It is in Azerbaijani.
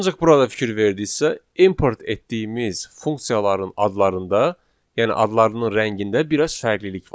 Ancaq burada fikir verdinizsə, import etdiyimiz funksiyaların adlarında, yəni adlarının rəngində biraz fərqlilik var.